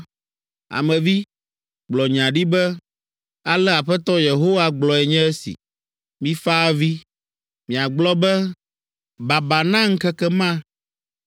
“Ame vi, gblɔ nya ɖi be, ‘Ale Aƒetɔ Yehowa gblɔe nye esi: “ ‘Mifa avi, miagblɔ be, Baba na ŋkeke ma,